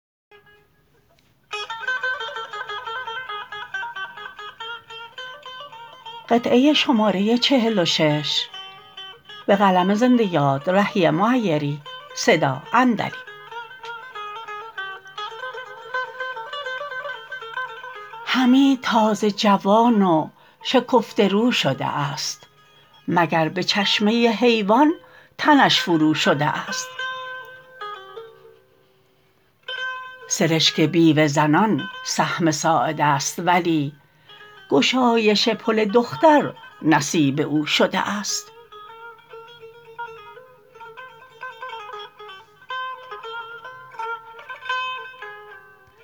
حمید تازه جوان و شکفته رو شده است مگر به چشمه حیوان تنش فرو شده است سرشک بیوه زنان سهم ساعد است ولی گشایش پل دختر نصیب او شده است